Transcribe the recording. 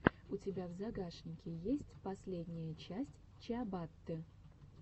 у тебя в загашнике есть последняя часть чиабатты